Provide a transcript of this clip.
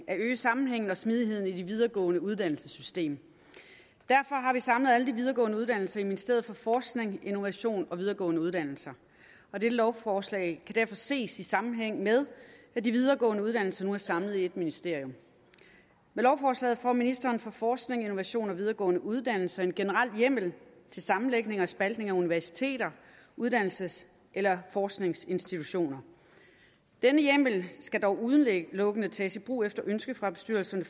at øge sammenhængen og smidigheden i det videregående uddannelsessystem derfor har vi samlet alle de videregående uddannelser i ministeriet for forskning innovation og videregående uddannelser og dette lovforslag kan derfor ses i sammenhæng med at de videregående uddannelser nu er samlet i ét ministerium med lovforslaget får ministeren for forskning innovation og videregående uddannelser en generel hjemmel til sammenlægning og spaltning af universiteter uddannelses eller forskningsinstitutioner denne hjemmel skal dog udelukkende tages i brug efter ønske fra bestyrelserne